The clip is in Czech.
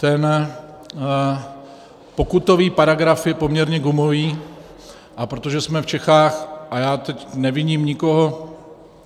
Ten pokutový paragraf je poměrně gumový, a protože jsme v Čechách - a já teď neviním nikoho